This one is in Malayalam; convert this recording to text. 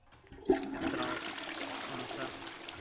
എത്ര മാസാ